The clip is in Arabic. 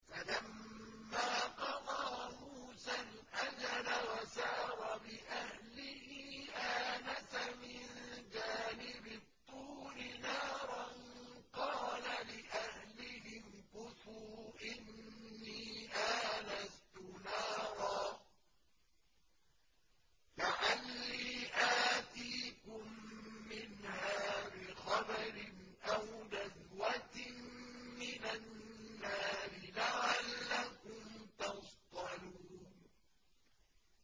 ۞ فَلَمَّا قَضَىٰ مُوسَى الْأَجَلَ وَسَارَ بِأَهْلِهِ آنَسَ مِن جَانِبِ الطُّورِ نَارًا قَالَ لِأَهْلِهِ امْكُثُوا إِنِّي آنَسْتُ نَارًا لَّعَلِّي آتِيكُم مِّنْهَا بِخَبَرٍ أَوْ جَذْوَةٍ مِّنَ النَّارِ لَعَلَّكُمْ تَصْطَلُونَ